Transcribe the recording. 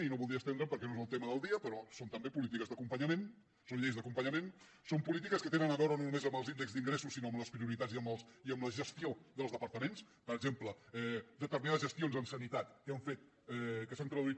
i no voldria estendre’m perquè no és el tema del dia però són també polítiques d’acompanyament són lleis d’acompanyament són polítiques que tenen a veure no només amb els índexs d’ingressos sinó amb les prioritats i amb la gestió dels departaments per exemple determinades gestions en sanitat que s’han traduït